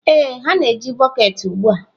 Ee, ha na-eji bọket ugbu a.